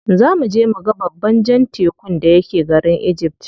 Za muje muga babban jan tekun da yake garin egypt.